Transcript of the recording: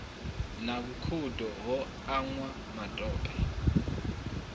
na vhukhudo ho anwa matope